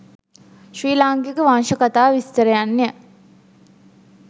ශ්‍රී ලාංකික වංශකථා විස්තරයන්ය.